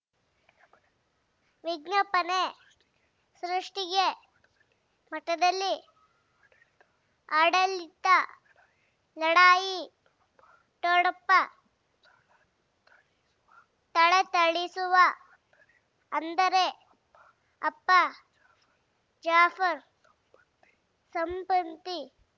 ವಿಜ್ಞಾಪನೆ ಸೃಷ್ಟಿಗೆ ಮಠದಲ್ಲಿ ಆಡಳಿತ ಲಢಾಯಿ ಠೊಣಪ ಥಳಥಳಿಸುವ ಅಂದರೆ ಅಪ್ಪ ಜಾಫರ್ ಸಂಬಂಧಿ